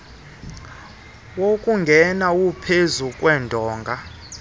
wokungena uphezu kwedonga